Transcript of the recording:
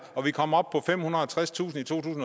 og vi kommer op på femhundrede